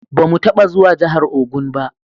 Ba mu taba zuwa jahar Ogun ba